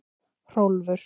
Hrólfur